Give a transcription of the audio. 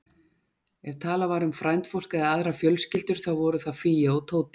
Ef talað var um frændfólk eða aðrar fjölskyldur, þá voru það Fía og Tóti.